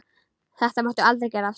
Þetta máttu aldrei gera aftur!